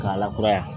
K'a lakura yan